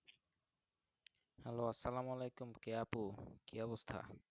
Hello আশায়েলালায়কুম কি আপু কি অবস্থা।